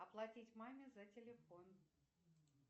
оплатить маме за телефон